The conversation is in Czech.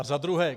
A za druhé.